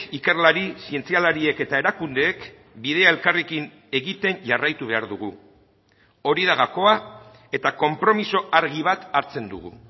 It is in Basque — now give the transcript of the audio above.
ikerlari zientzialariek eta erakundeek bidea elkarrekin egiten jarraitu behar dugu hori da gakoa eta konpromiso argi bat hartzen dugu